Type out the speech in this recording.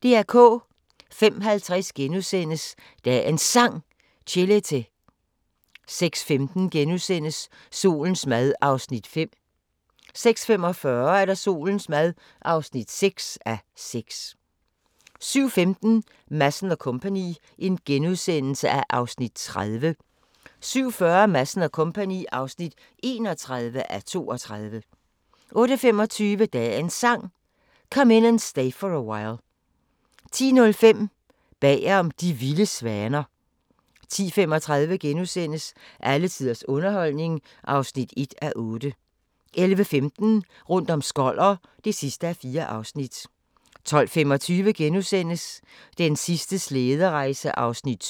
05:50: Dagens Sang: Chelete * 06:15: Solens mad (5:6)* 06:45: Solens mad (6:6) 07:15: Madsen & Co. (30:32)* 07:40: Madsen & Co. (31:32) 08:25: Dagens Sang: Come In And Stay For A While 10:05: Bagom De vilde svaner 10:35: Alle tiders underholdning (1:8)* 11:15: Rundt om Skoller (4:4) 12:25: Den sidste slæderejse (7:8)*